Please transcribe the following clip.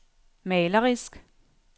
malerisk